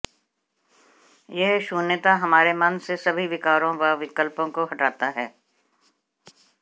यह शून्यता हमारे मन से सभी विकारों व विकल्पों को हटाता है